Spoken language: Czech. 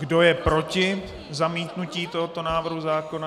Kdo je proti zamítnutí tohoto návrhu zákona?